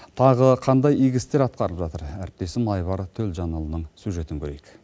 тағы қандай игі істер атқарылып жатыр әріптесім айбар төлжанұлының сюжетін көрейік